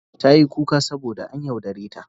Tayi kuka saboda an yaudare ta.